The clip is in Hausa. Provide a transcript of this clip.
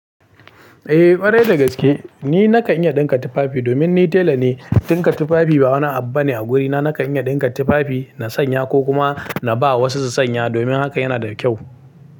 Eh ƙwarai da gaske ni nakan iya ɗinka tufafi domin ni tela ne. Ɗinka tufafi ba wani abu bane a gurina. Nakan iya dinka tufafi na sanya ko kuma ba wasu su sanya. Domin haka yana da kyau.